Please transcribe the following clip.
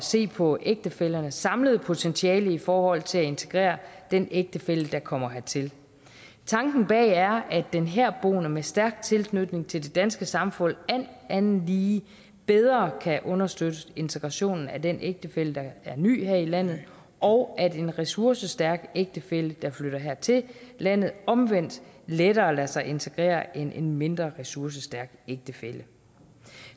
se på ægtefællernes samlede potentiale i forhold til at integrere den ægtefælle der kommer hertil tanken bag det er at den herboende med stærk tilknytning til det danske samfund alt andet lige bedre kan understøtte integrationen af den ægtefælle der er ny her i landet og at en ressourcestærk ægtefælle der flytter her til landet omvendt lettere lader sig integrere end en mindre ressourcestærk ægtefælle